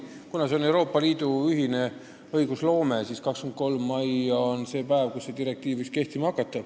Kuna tegu on Euroopa Liidu ühise õigusloomega, siis on just 23. mai see päev, kui direktiiv võiks meilgi kehtima hakata.